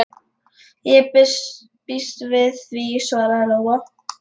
Ég býst við því, svaraði Lóa.